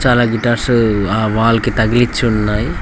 చాలా గిటార్సు ఆ వాల్ కి తగిలిచ్చి ఉన్నాయ్.